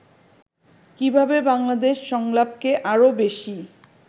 কীভাবে বাংলাদেশ সংলাপকে আরও বেশি